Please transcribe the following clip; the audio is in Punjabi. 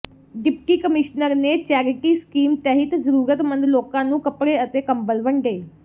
ਡਿਪਟੀ ਕਮਿਸ਼ਨਰ ਨੇ ਚੈਰਿਟੀ ਸਕੀਮ ਤਹਿਤ ਜ਼ਰੂਰਤਮੰਦ ਲੋਕਾਂ ਨੂੰ ਕੱਪੜੇ ਅਤੇ ਕੰਬਲ ਵੰਡੇ